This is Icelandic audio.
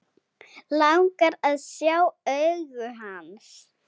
Langar að sjá augu hans.